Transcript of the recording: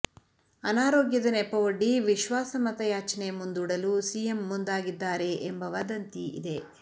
ಅನಾರೋಗ್ಯದ ನೆಪವೊಡ್ಡಿ ವಿಶ್ವಾಸ ಮತಯಾಚನೆ ಮುಂದೂಡಲು ಸಿಎಂ ಮುಂದಾಗಿದ್ದಾರೆ ಎಂಬ ವದಂತಿ ಇದೆ